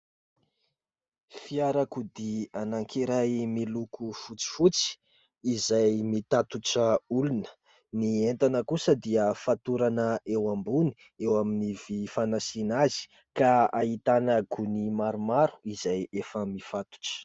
Fiarakodia anankiray miloko fotsifotsy izay mitatitra olona . Ny entana kosa dia fatorana eo ambony eo amin'ny vy fanasiana azy ka hahitana gony maromaro izay efa mifatotra .